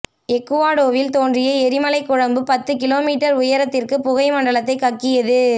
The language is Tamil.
எக்குவாடோவில் தோன்றிய எரிமலைக் குழம்பு பத்து கிலோ மீற்றர் உயரத்திற்குப் புகை மண்டலத்தைக் கக்கியது